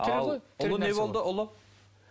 ал ұлы не болды ұлы